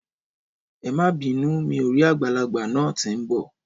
Ẹmà bínù, mi ò rì àgbàlàgbà nà tì ḿ bọ